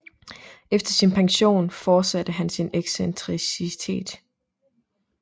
Efter sin pension forsatte han sin excentricitet